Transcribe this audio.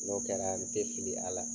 N'o kɛra n tɛ fili a la.